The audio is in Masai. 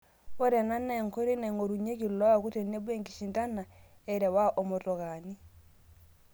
Ore ena naa enkoitoi naing'orunyieki iloaku tenebo enkishindana e rewaa omotokaani